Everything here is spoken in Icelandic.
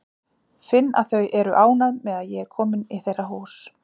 Finn að þau eru ánægð með að ég er komin í þeirra hús.